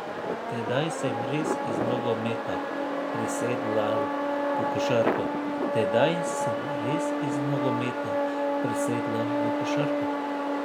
Tedaj sem res iz nogometa presedlal v košarko.